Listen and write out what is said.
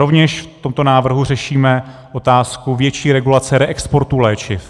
Rovněž v tomto návrhu řešíme otázku větší regulace reexportu léčiv.